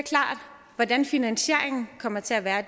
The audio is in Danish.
hvordan finansieringen kommer til at være